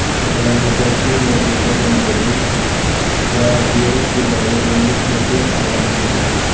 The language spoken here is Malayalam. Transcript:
ചടങ്ങുകൾക്ക് നേതൃത്വം നൽകിയത് ക്വാദ്രിയുടെ പിതാവ് മാലിക് ബഷീര് അവാന് ആണ്